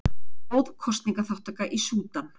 Góð kosningaþátttaka í Súdan